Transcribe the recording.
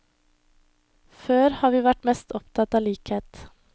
Før har vi vært mest opptatt av likhet.